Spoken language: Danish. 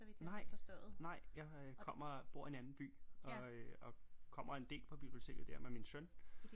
Nej nej jeg kommer bor i en anden by og øh og kommer en del på biblioteket der med min søn